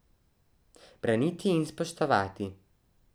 Braniti in spoštovati.